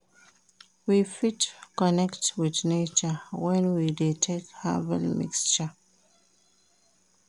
We fit connect with nature when we de take herbal mixture